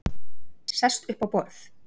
Sest upp á borð.